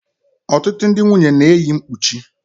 Ọtụtụ ndị nwunye na-eyi mkpuchi.